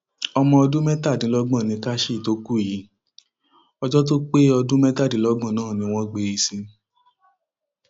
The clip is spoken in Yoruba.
ọmọ ọdún mẹtàdínlọgbọn nikashy tó kú yìí ọjọ tó pé ọdún mẹtàdínlọgbọn náà ni wọn gbé e sin